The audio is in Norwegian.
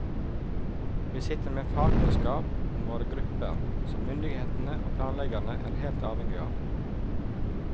Vi sitter med fagkunnskap om våre grupper, som myndigheter og planleggere er helt avhengige av.